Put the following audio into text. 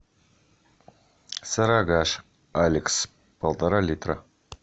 сарыагаш алекс полтора литра